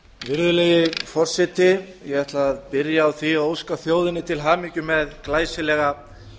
virðulegi forseti ég ætla að byrja á því að óska þjóðinni til hamingju með glæsilega